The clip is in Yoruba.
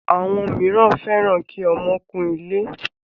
Àwọn míràn fẹ́ràn kí ọmọ kún ilé.